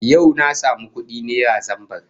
Yau na samu kudi naira zambar